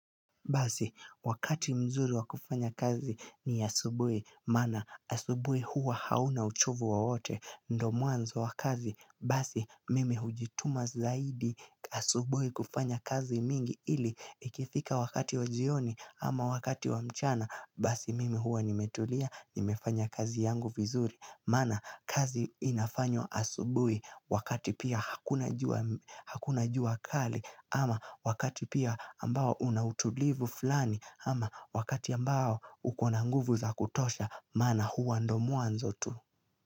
Basi, wakati mzuri wa kufanya kazi ni asubuhi maana asubuhi huwa hauna uchovu wowote, ndo mwanzo wa kazi, basi mimi hujituma zaidi asubuhi kufanya kazi mingi ili ikifika wakati wa jioni ama wakati wa mchana, basi mimi huwa nimetulia, nimefanya kazi yangu vizuri Maana kazi inafanywa asubuhi wakati pia hakuna jua kali ama wakati pia ambao una utulivu fulani ama wakati ambao huko na nguvu za kutosha maana huwa ndo mwanzo tu.